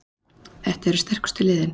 Þetta eru sterkustu liðin